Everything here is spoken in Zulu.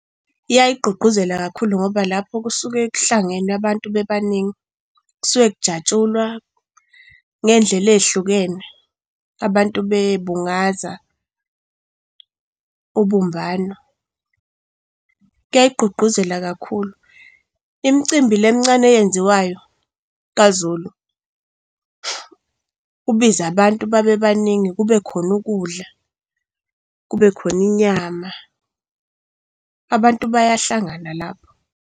Iyayigqugquzela kakhulu ngoba lapho kusuke k'hlangene abantu bebaningi kusuke kujatshulwa ngey'ndlela ey'hlukene abantu bebungaza ubumbano kuyayigqugquzela kakhulu. Imcimbi le emncane eyenziwayo kaZulu, ubize abantu babebaningi, kube khona ukudla, kube khona inyama, abantu bayahlangana lapho.